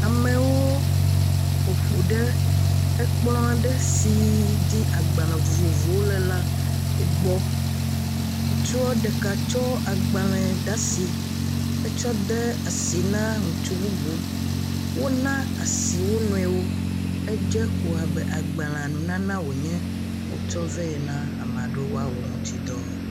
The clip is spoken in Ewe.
Amewo ƒoƒu ɖe ekplɔ ɖe si dzi agbalẽ vovovowo le la gbɔ. Ŋutsu ɖeka kɔ agbalẽ ɖe asi ekɔ de asi ná ŋutsu bubu. Wɔna asi wonɔewo. Edze ko abe agbalẽ nunana wonye, wotsɔ ve na ame aɖewo wòa wɔ eŋuti dɔ.